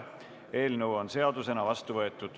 Eelnõu on seadusena vastu võetud.